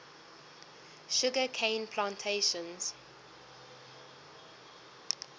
sugar cane plantations